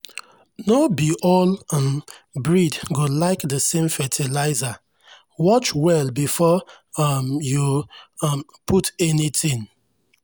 no be all um breed go like the same fertiliser—watch well before um you um put anything.